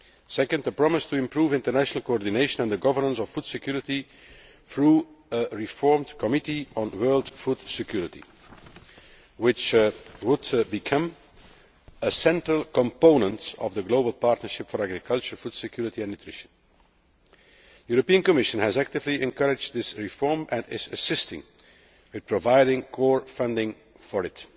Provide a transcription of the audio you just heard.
Second, the promise to improve international coordination and the governance of food security through a reformed Committee on World Food Security, which would become a central component of the global partnership for agriculture, food security and nutrition. The European Commission has actively encouraged this reform and is assisting in providing core funding for it.